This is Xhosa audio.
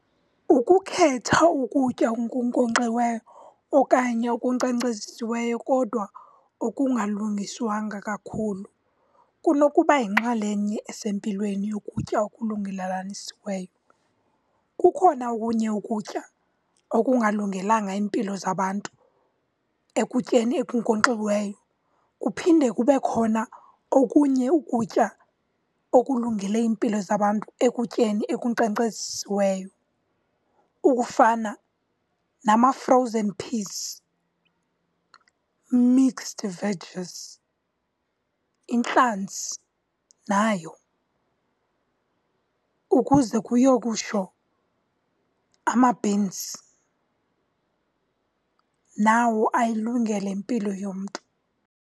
Ukukhetha ukutya okunkonkxiweyo okanye okukhenkcezisiweyo kodwa okungalungiswanga kakhulu kunoba yinxalenye esempilweni yokutya . Kukhona okunye ukutya okungalungelanga iimpilo zabantu ekutyeni okunkonkxiweyo, kuphinde kube khona okunye ukutya okulungele iimpilo zabantu ekutyeni ekukhenkcezisiweyo okufana nama-frozen peas, mixed veggies, intlanzi nayo ukuze kuyo kutsho ama-beans, nawo ayilungele impilo yomntu.